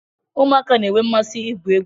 Ụmụaka na-enwe mmasị igwu egwu